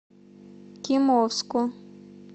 кимовску